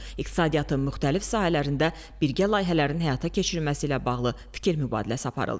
İqtisadiyyatın müxtəlif sahələrində birgə layihələrin həyata keçirilməsi ilə bağlı fikir mübadiləsi aparıldı.